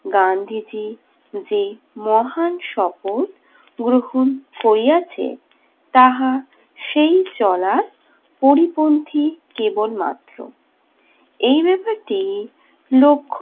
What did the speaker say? গান্ধীজি যেই মহান শপথ গ্রহণ করিয়াছে, তাহা সেই চলার পরিপন্থী কেবল মাত্র। এই ব্যাপারটি লক্ষ্য